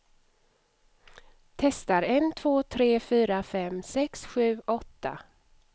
Testar en två tre fyra fem sex sju åtta.